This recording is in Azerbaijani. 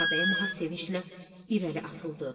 Ağabəyim ağa sevinclə irəli atıldı.